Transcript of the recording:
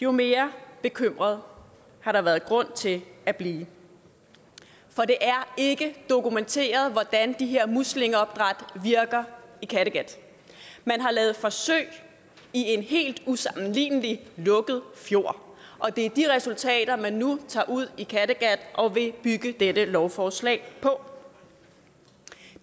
jo mere bekymret har der været grund til at blive for det er ikke dokumenteret hvordan de her muslingeopdræt virker i kattegat man har lavet forsøg i en helt usammenlignelig lukket fjord og det er de resultater man nu tager ud i kattegat og vil bygge dette lovforslag på